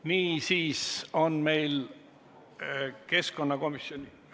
Niisiis on meil keskkonnakomisjoni ...